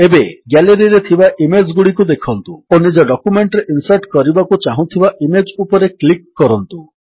ଏବେ Galleryରେ ଥିବା ଇମେଜ୍ ଗୁଡ଼ିକୁ ଦେଖନ୍ତୁ ଓ ନିଜ ଡକ୍ୟୁମେଣ୍ଟରେ ଇନ୍ସର୍ଟ କରିବାକୁ ଚାହୁଁଥିବା ଇମେଜ୍ ଉପରେ କ୍ଲିକ୍ କରନ୍ତୁ